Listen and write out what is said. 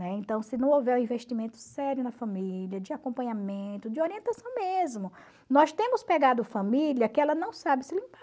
Né? Então, se não houver um investimento sério na família, de acompanhamento, de orientação mesmo, nós temos pegado família que ela não sabe se limpar.